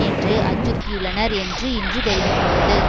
என்று அச்சுறுத்தியுள்ளனர் என்று இன்று தெரிவித்துள்ளது